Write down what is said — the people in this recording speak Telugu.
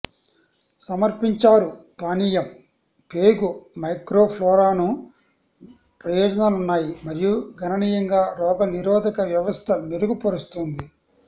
సమర్పించారు పానీయం పేగు మైక్రోఫ్లోరాను న ప్రయోజనాలు ఉన్నాయి మరియు గణనీయంగా రోగనిరోధక వ్యవస్థ మెరుగుపరుస్తుంది